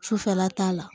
Sufɛla t'a la